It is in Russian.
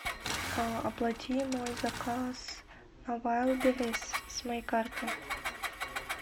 оплати мой заказ на вайлдберрис с моей карты